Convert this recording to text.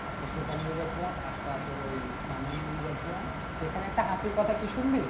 তো সেটা নিয়ে গেছিলাম একটা তোর ওই কানের নিয়ে গেছিলাম এখানে একটা হাসির কথা কি শুনবি?